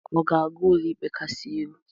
Ọ ga-aga Ụlọikpe Kasị Elu?